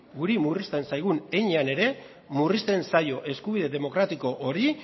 guri murrizten zaigun heinean ere murrizten zaio eskubide demokratiko hori